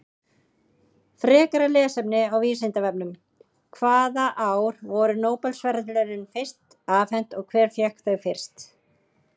Frekara lesefni á Vísindavefnum: Hvaða ár voru Nóbelsverðlaunin fyrst afhent og hver fékk þau fyrst?